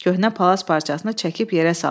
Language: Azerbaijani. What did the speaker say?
Köhnə palaz parçasını çəkib yerə saldı.